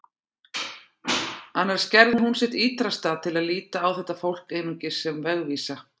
Annars gerði hún sitt ýtrasta til að líta á þetta fólk einungis sem vegvísa.